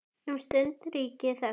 Um stund ríkir þögn.